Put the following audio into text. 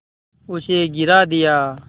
उसे गिरा दिया